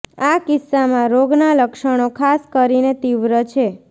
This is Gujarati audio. આ કિસ્સામાં રોગ ના લક્ષણો ખાસ કરીને તીવ્ર છે